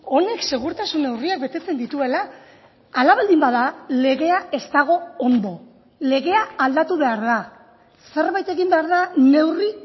honek segurtasun neurriak betetzen dituela hala baldin bada legea ez dago ondo legea aldatu behar da zerbait egin behar da neurri